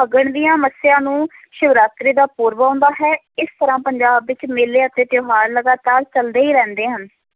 ਫੱਗਣ ਦੀਆਂ ਮੱਸਿਆ ਨੂੰ ਸਿਵਰਾਤਰੀ ਦਾ ਪੁਰਬ ਆਉਂਦਾ ਹੈ, ਇਸ ਤਰ੍ਹਾਂ ਪੰਜਾਬ ਵਿੱਚ ਮੇਲਿਆਂ ਤੇ ਤਿਉਹਾਰ ਲਗਾਤਾਰ ਚੱਲਦੇ ਹੀ ਰਹਿੰਦੇ ਹਨ,